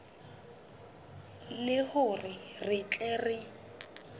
le hore re tle re